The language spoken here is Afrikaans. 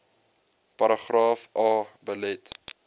paragraaf a belet